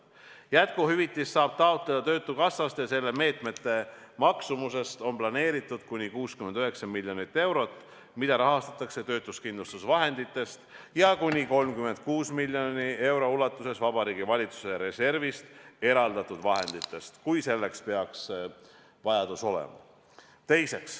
Jätkuhüvitist saab taotleda töötukassast ja selle meetme maksumuseks on planeeritud kuni 69 miljonit eurot, mida rahastatakse töötuskindlustusvahenditest ja kuni 36 miljoni euro ulatuses Vabariigi Valitsuse reservist eraldatud vahenditest, kui selleks peaks vajadus olema.